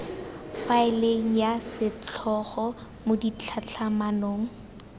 faeleng ya setlhogo mo ditlhatlhamanong